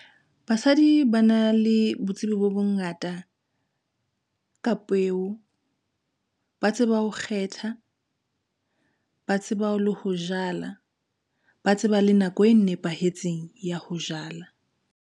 Basadi ba na le botsebi bo bongata, ka peo. Ba tseba ho kgetha, ba tseba le ho jala, ba tseba le nako e nepahetseng ya ho jala.